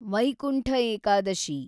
Vaikuntha Ekadashi